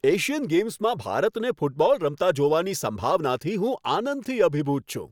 Asian ગેમ્સમાં ભારતને football રમતા જોવાની સંભાવનાથી હું આનંદથી અભિભૂત છું.